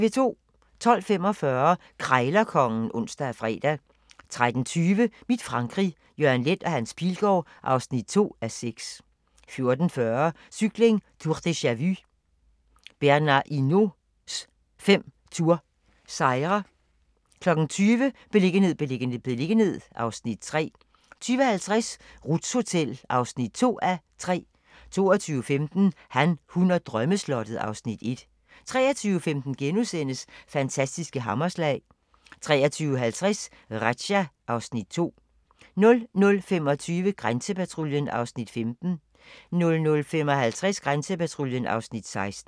12:45: Krejlerkongen (ons og fre) 13:20: Mit Frankrig - Jørgen Leth & Hans Pilgaard (2:6) 14:40: Cykling: Tour deja-vu - Bernhard Hinaults fem Tour sejre 20:00: Beliggenhed, beliggenhed, beliggenhed (Afs. 3) 20:50: Ruths Hotel (2:3) 22:15: Han, hun og drømmeslottet (Afs. 1) 23:15: Fantastiske hammerslag * 23:50: Razzia (Afs. 2) 00:25: Grænsepatruljen (Afs. 15) 00:55: Grænsepatruljen (Afs. 16)